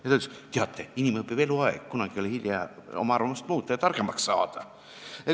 Ja ta ütles, et teate, inimene õpib eluaeg, kunagi ei ole hilja oma arvamusi muuta ja targemaks saada.